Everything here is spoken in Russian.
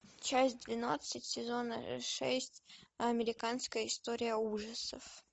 часть двенадцать сезон шесть американская история ужасов